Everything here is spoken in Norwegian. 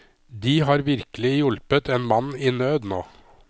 De har virkelig hjulpet en mann i nød nå.